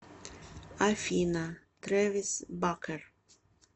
афина тревис бакер